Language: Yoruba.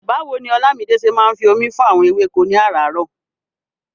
Báwo ni Olamide ṣe máa ń fi omi fún àwọn ewéko ní aràárọ̀?